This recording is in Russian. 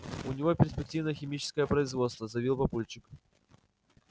у него перспективное химическое производство заявил папульчик